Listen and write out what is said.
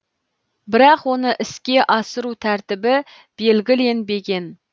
бірақ оны іске асыру тәртібі белгіленбеген